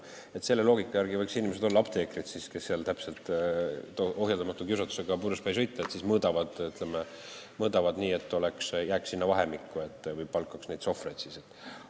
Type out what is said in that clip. Selle loogika järgi võiksid inimesed olla apteekrid, sest kui neil on ohjeldamatu kiusatus purjus peaga sõita, siis nad mõõdavad, et tulemus jääks sinna vahemikku, või nad võiksid palgata sohvreid.